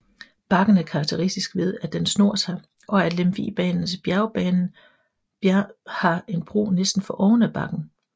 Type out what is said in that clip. Bakken er karakteristisk ved at den snor sig og at Lemvigbanens bjergbanen har en bro næsten for oven af bakken